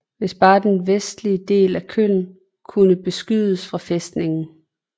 Hvis bare den vestligste del af Koön kunne beskydes fra fæstningen